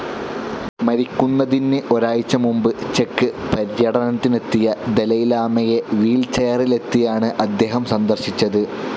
മരിക്കുന്നതിന് ഒരാഴ്ച്ച മുമ്പ് ചെക്ക്‌ പര്യടനത്തിനെത്തിയ ദലൈലാമയെ വീൽചെയറിലെത്തിയാണ് അദ്ദേഹം സന്ദർശിച്ചത്.